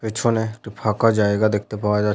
পেছনে একটি ফাঁকা জায়গা দেখতে পাওয়া যা--